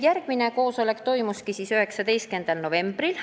Järgmine koosolek toimus 19. novembril.